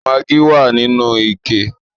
Maggi wà nínú ike